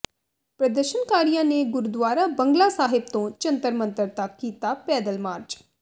ਪ੍ਰਦਰਸ਼ਨਕਾਰੀਆਂ ਨੇ ਗੁਰਦੁਆਰਾ ਬੰਗਲਾ ਸਾਹਿਬ ਤੋਂ ਜੰਤਰ ਮੰਤਰ ਤੱਕ ਕੀਤਾ ਪੈਦਲ ਮਾਰਚ